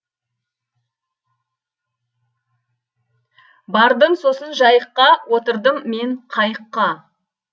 бардым сосын жайыққа отырдым мен қайыққа